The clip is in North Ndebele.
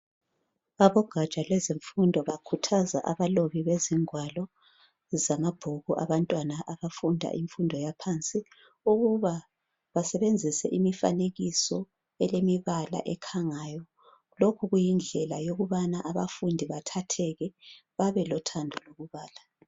Abogatsha lwezemfundo bakhuthaza abalobi bezingwalo zamabhuku abantwana abafunda imfundo yaphansi, ukuba basebenzise imifanekiso elemibala ekhangayo. Lokhu kuyindlela yokubana abafundi bathatheke babelothando lokubala.